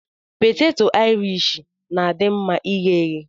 Peteto aịrish na-adị mma ighe eghe.